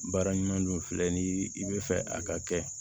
Baara ɲuman don filɛ ni i bɛ fɛ a ka kɛ